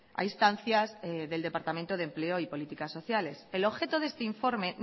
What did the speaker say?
a instancias del departamento de empleo y políticas sociales el objeto de este informe